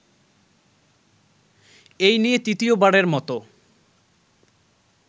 এই নিয়ে তৃতীয়বারের মত